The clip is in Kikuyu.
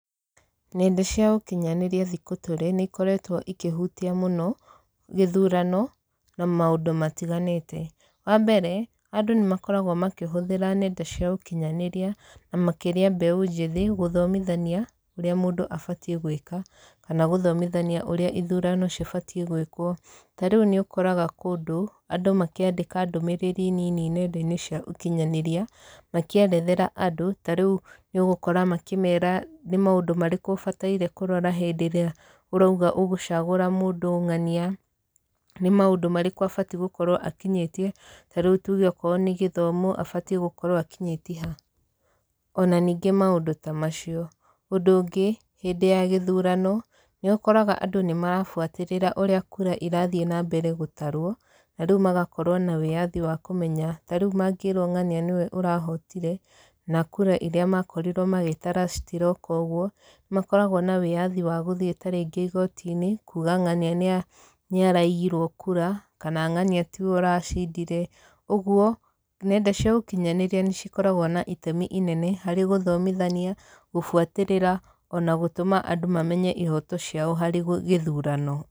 Nenda cia ũkinyanĩria thikũ tũrĩ nĩ ikoretwo ikĩhutia mũno, gĩthurano na maũndũ matiganĩte. Wa mbere, andũ nĩ makoragwo makĩhũthĩra nenda cia ũkinyanĩria, na makĩria mbeũ njĩthĩ, gũthomithania ũrĩa mũndũ abatiĩ gwĩka, kana gũthomithania ũrĩa ithurano cibatiĩ gwĩkwo. Ta rĩu nĩ ũkoraga kũndũ, andũ makĩandĩka ndũmĩrĩri nini nenda-inĩ cia ũkinyanĩria, makĩerethera andũ. Ta rĩu nĩ ũgũkora makĩmera nĩ maũndũ marĩkũ ũbataire kũrora hĩndĩ ĩrĩa ũrauga ũgũcagũra mũndũ ng'ania. Nĩ maũndũ marĩkũ abatiĩ gũkorwo akinyĩtie, ta rĩu tuge okorwo nĩ gĩthomo, abatiĩ gũkorwo akinyĩtie ha. Ona ningĩ maũndũ ta macio. Ũndũ ũngĩ, hĩndĩ ya gĩthurano, nĩ ũkoraga andũ nĩ marabuatĩrĩra ũrĩa kura irathiĩ na mbere gũtarwo, na rĩu magakorwo na wĩyathi wa kũmenya, ta rĩu mangĩrwo ng'ania nĩwe ũrahotire, na kura irĩa makorirwo magĩtara citiroka ũguo, nĩ makoragwo na wĩyathi wa gũthiĩ tarĩngĩ igooti-inĩ, kuuga ng'ania nĩ nĩ araiyirwo kura, kana ng'ania tiwe ũracindire. Ũguo, nenda cia ũkinyanĩria nĩ cikoragwo na itemi inene harĩ gũthomithania, gũbuatĩrĩra, ona gũtũma andũ mamenye ihooto ciao harĩ gĩthurano.